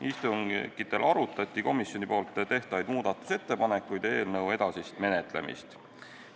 Istungitel arutati komisjoni tehtavaid muudatusettepanekuid ja eelnõu edasist menetlemist.